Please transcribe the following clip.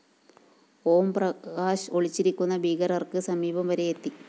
ഓം പ്രകാശ് ഒളിച്ചിരിക്കുന്ന ഭീകരര്‍ക്ക് സമീപം വരെയെത്തി